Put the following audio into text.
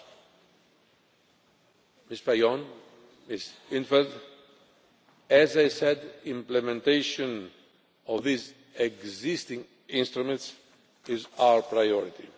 Ms Fajon, Ms in't Veld, implementation of these existing instruments is our priority.